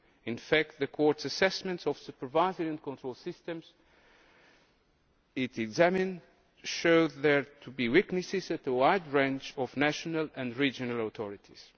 In fact, the Court's assessments of supervisory and control systems it examined showed there to be weaknesses at a wide range of national and regional authorities.